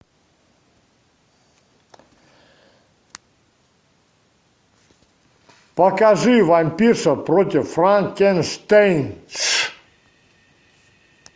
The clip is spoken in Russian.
покажи вампирша против франкенштейнш